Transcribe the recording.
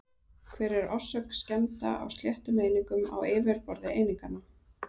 Hver er orsök skemmda á sléttum einingum á yfirborði eininganna?